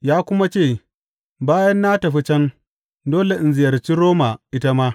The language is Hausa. Ya kuma ce, Bayan na tafi can, dole in ziyarci Roma ita ma.